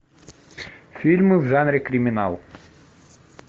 фильмы в жанре криминал